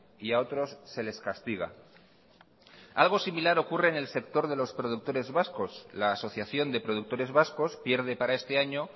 y a otros se les castiga algo similar ocurre en el sector de los productores vascos la asociación de productores vascos pierde para este año